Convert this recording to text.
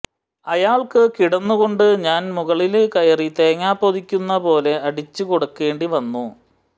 അയാള്ക്ക് കിടന്നു കൊണ്ട് ഞാന് മുകളില് കയറി തേങ്ങ പോതിക്കുന്ന പോലെ അടിച്ചു കൊടുക്കേണ്ടി വന്നു